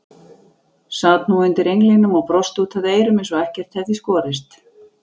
Sat nú undir englinum og brosti út að eyrum eins og ekkert hefði í skorist.